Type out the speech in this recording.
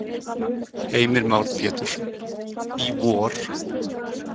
Heimir Már Pétursson: Í vor?